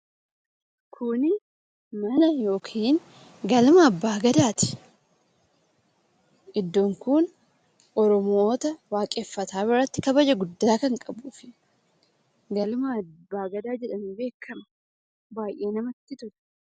Kun mana yookiin galma abbaa gadaati. Iddoon kun Oromoota waaqeffataa biratti kabaja guddaa kan qabuufi galma Abbaa Gadaa jedhamuun beekkama. Baayyee namatti tola.